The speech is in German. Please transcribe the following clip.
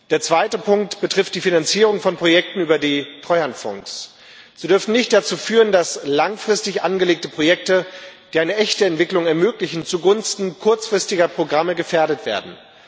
Der zweite Punkt betrifft die Finanzierung von Projekten über die Treuhandfonds. Sie darf nicht dazu führen, dass langfristig angelegte Projekte, die eine echte Entwicklung ermöglichen, zugunsten kurzfristiger Programme gefährdet werden.